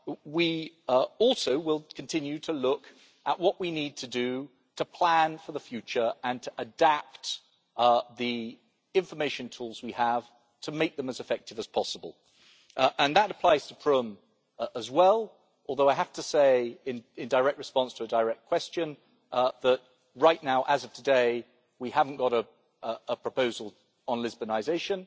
We will also continue to look at what we need to do to plan for the future and to adapt the information tools we have to make them as effective as possible, and that applies to the Prüm Convention as well, although I have to say, in direct response to a direct question, that right now, as of today, we do not have a proposal on Lisbonisation.